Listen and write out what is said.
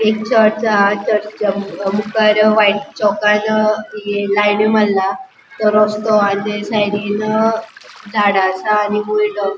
एक चर्च हा चर्चीच्या मुखार अ व्हाइट चोकान ये लाय्न्यो मारला तो रस्तों आणि तेज्या सायडीन अ झाडा आसा आणि वयर --